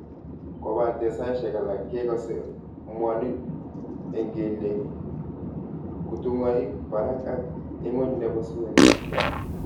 Kopate saishek alak kekase mwanin eng' keliek kutung'aik parak ak ing'uny nebo suet